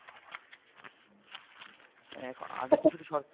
আগে তো শুধু সরকারি